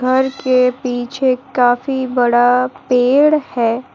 घर के पीछे काफी बड़ा पेड़ है।